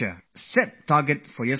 So set your own targets for yourselves